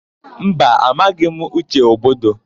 Mba, amaghị m Uche Ogbodo.